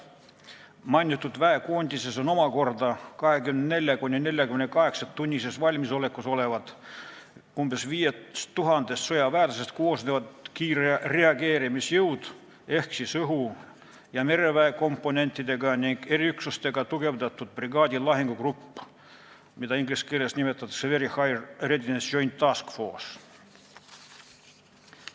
Mainitud väekoondises on omakorda 24–48-tunnises valmisolekus olevad umbes 5000 sõjaväelasest koosnevad kiirreageerimisjõud ehk õhu- ja mereväe komponentidega ning eriüksustega tugevdatud brigaadi lahingugrupp, mida inglise keeles nimetatakse Very High Readiness Joint Task Force'iks.